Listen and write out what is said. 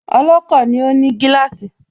Ọlọ́kọ̀ ni ó ní gíláàsì